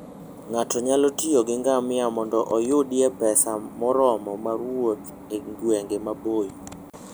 Ng'ato nyalo tiyo gi ngamia mondo oyudie pesa moromo mar wuoth e gwenge maboyo.